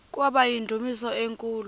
kwaba yindumasi enkulu